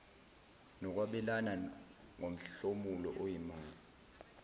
nokwabelana ngomhlomulo oyimali